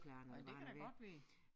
Ej det kan da godt være